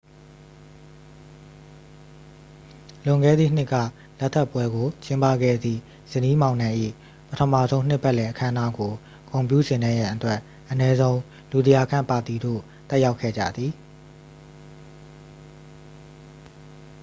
လွန်ခဲ့သည့်နှစ်က လက်ထပ်ပွဲကို ကျင်းပခဲ့သည့် ဇနီးမောင်နှံ၏ ပထမဆုံးနှစ်ပတ်လည် အခမ်းအနားကို ဂုဏ်ပြုဆင်နွဲရန်အတွက် အနည်းဆုံး လူ 100 ခန့် ပါတီသို့ တက်ရောက်ခဲ့ကြသည်